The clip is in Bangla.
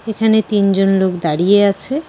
এখানে তিনজন লোক দাঁড়িয়ে আছে।